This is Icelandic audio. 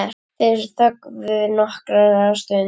Þeir þögðu nokkra stund.